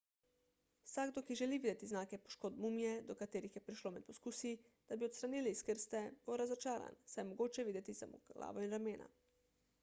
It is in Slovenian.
vsakdo ki želi videti znake poškodb mumije do katerih je prišlo med poskusi da bi jo odstranili iz krste bo razočaran saj je mogoče videti samo glavo in ramena